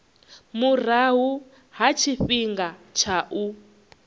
murahu ha tshifhinga tsha u